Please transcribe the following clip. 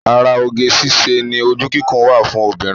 Ara oge síṣe ni ojú kíkún wa fún obìnrin